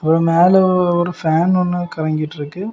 அப்றோம் மேல ஒரு ஃபேன் ஒன்னு கரங்கிட்டுருக்கு.